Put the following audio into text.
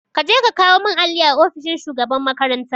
Kaje ka kawo mun alli a ofishin shugaban makaranta